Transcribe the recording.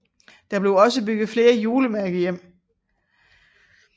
Der blev også bygget flere julemærkehjem